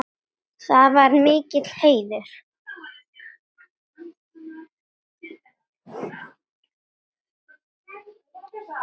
Það var mikill heiður.